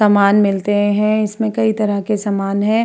सामान मिलते है। इसमें कई तरह के समान हैं।